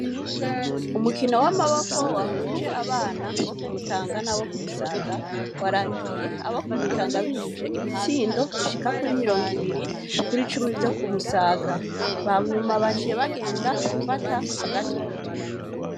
Umukino w'amabiko wahuje abana bo ku Mutanga n'abo ku Musaga warangiye abo ku Mutanga binjije ibitsindo bishika kuri mirongo ibiri kuri cumi vyo ku Musaga. Hanyuma baciye bagenda gufata agatutu.